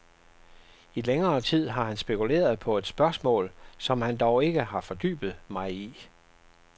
I længere tid har han spekuleret på et spørgsmål, som han dog ikke har fordybet mig i.